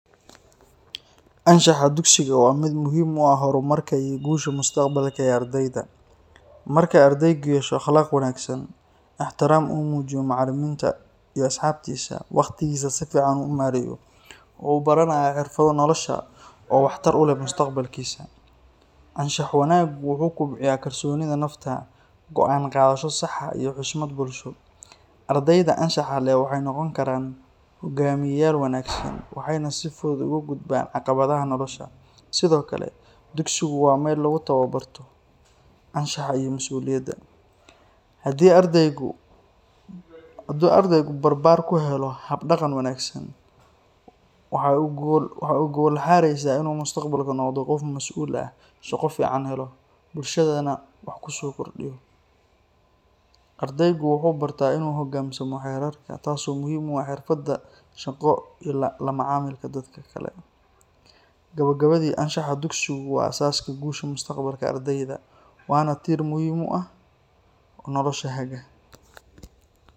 Anshaxa dugsiga waa mid muhiim u ah horumarka iyo guusha mustaqbalka ee ardayda. Marka ardaygu yeesho akhlaaq wanaagsan, ixtiraam u muujiyo macallimiinta iyo asxaabtiisa, waqtigiisana si fiican u maareeyo, wuxuu baranayaa xirfado nolosha oo waxtar u leh mustaqbalkiisa. Anshax wanaagu wuxuu kobciyaa kalsoonida nafta, go’aan qaadasho sax ah, iyo xushmad bulsho. Ardayda anshaxa leh waxay noqon karaan hoggaamiyeyaal wanaagsan, waxayna si fudud uga gudbaan caqabadaha nolosha. Sidoo kale, dugsigu waa meel lagu tababarto anshaxa iyo masuuliyadda. Haddii ardaygu barbaar ku helo hab-dhaqan wanaagsan, waxay u gogol xaaraysaa inuu mustaqbalka noqdo qof mas’uul ah, shaqo fiican helo, bulshadana wax ku soo kordhiyo. Ardaygu wuxuu bartaa inuu u hoggaansamo xeerarka, taas oo muhiim u ah xirfadda shaqo iyo la macaamilka dadka kale. Gabagabadii, anshaxa dugsigu waa aasaaska guusha mustaqbalka ardayda, waana tiir muhiim ah oo nolosha haga.